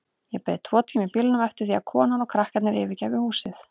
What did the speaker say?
Ég beið tvo tíma í bílnum eftir því að konan og krakkarnir yfirgæfu húsið.